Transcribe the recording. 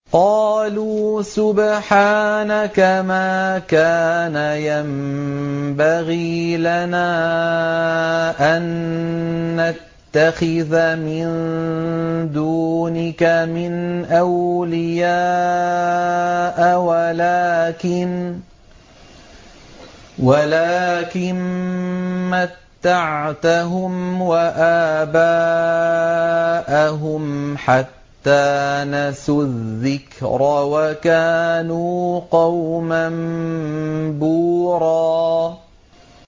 قَالُوا سُبْحَانَكَ مَا كَانَ يَنبَغِي لَنَا أَن نَّتَّخِذَ مِن دُونِكَ مِنْ أَوْلِيَاءَ وَلَٰكِن مَّتَّعْتَهُمْ وَآبَاءَهُمْ حَتَّىٰ نَسُوا الذِّكْرَ وَكَانُوا قَوْمًا بُورًا